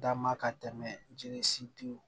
Dama ka tɛmɛ jeli sitigiw